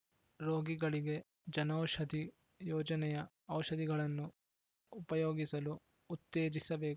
ರೋಗಿಗಳಿಗೆ ಜನೌಷಧಿ ಯೋಜನೆಯ ಔಷಧಿಗಳನ್ನು ಉಪಯೋಗಿಸಲು ಉತ್ತೇಜಿಸಬೇಕು